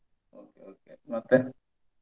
Okay okay ಮತ್ತೆ?